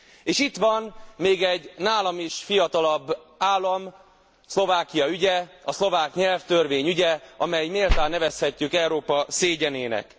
És itt van még egy nálam is fiatalabb állam, Szlovákia ügye, a szlovák nyelvtörvény ügye, amelyet méltán nevezhetünk Európa szégyenének.